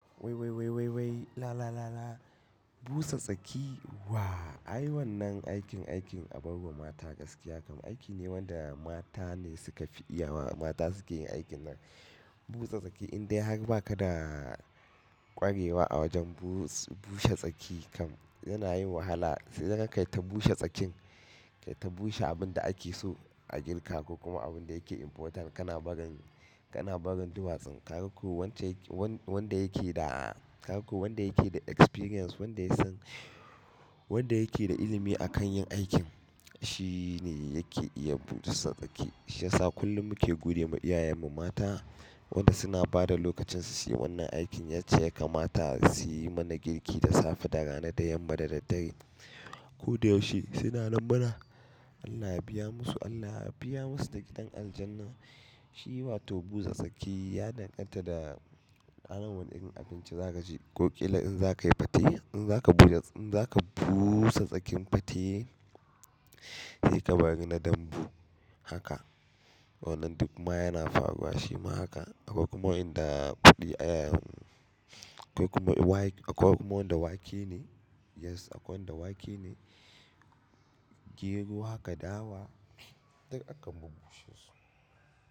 Wai wai wai la la la. Busa tsaki wa ay wann nan aikin abarwa mata gaskiya kam aiki ne wanda mata ne suka fi iyawa. Mata suke yin aikin nan. Busa tsaki in dai har ba ka da kwarewa a wajen bushe tsaki kam yana yin wahala. Sai dai kai ta bushe tsakin, kai ta bushe abin da ake so a girka ko kuma abin da yake important kana barin, kana barin duwatsun. Ka ga ko wanda yake da, ka ga ko wanda yake da experience, wanda ya san, wanda yake da ilimi a kan yin aikin shi ne yake iya busa tsaki. Shiya sa kullum muke gode ma iyayenmu mata wanda suna bada lokacin su su yi wannan aikin. Yacce ya kamata su yi mana girki da safe, da rana, da yamma, da daddare. Ko da yaushe suna nanmana. Allah ya biya musu, Allah ya biya musu da gidan aljanna. Shi watan busa tsaki ya danganta da ranar wane irin abinci za ka ci ko ƙila in za ka yi fate, in za ka buja, in za ka buuusa tsakin fate sai ka wari na dambu haka. Wannan dukma yana faruwa shima haka. Akwai kuma wa'yanda buɗe iyayen, akwai kuma waye, akwai kuma wanda wake ne. Yes akwai wanda wake ne, gero haka dawa duk akan bub bushe su.